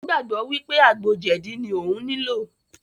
Ó gbàgbọ́ wípé àgbo jẹ̀dí ní òún nilò.